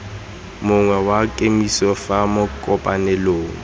mongwe wa kemiso fa makopanelong